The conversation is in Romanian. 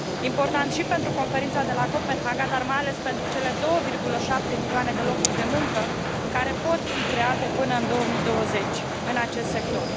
Important și pentru Conferința de la Copenhaga, dar mai ales pentru cele 2,7 milioane de locuri de muncă care pot fi create până în 2020 în acest sector.